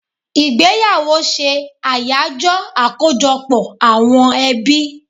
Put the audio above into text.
Igbeyawo se Ayajo akojọpọ àwọn ebi